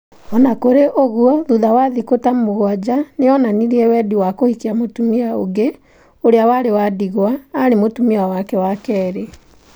O na kũrĩ ũguo, thutha wa thĩkũ ta mũgwanja, nĩ onanirie wendi wa kũhikia mũtumia ũngĩ, ũrĩa warĩ wa ndigwa, arĩ mũtumia wake wa kerĩ.